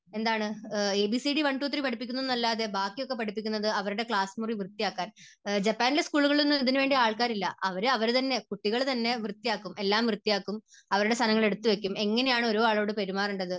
ABCD one two three പഠിപ്പിക്കുന്നത് അല്ലാതെ, ബാക്കിയൊക്കെ പഠിപ്പിക്കുന്നത് അവരുടെ ക്ലാസ് മുറി വൃത്തിയാക്കാൻ, ജപ്പാനിലെ സ്കൂളുകളിൽ ഒന്നും ഇതിനുവേണ്ടി ആൾക്കാരില്ല. അത് അവരവർ തന്നെ, കുട്ടികൾ തന്നെ വൃത്തിയാക്കും, എല്ലാം വൃത്തിയാക്കും അവരുടെ സാധനങ്ങൾ എടുത്തു വയ്ക്കും. എങ്ങനെയാണ് ഒരാളോട് പെരുമാറേണ്ടത്